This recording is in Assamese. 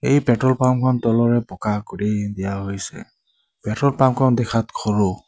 এই পেট্ৰল পাম্পৰ তলৰে পকা কৰি দিয়া হৈছে পেট্ৰল পাম্পখন দেখাত সৰু।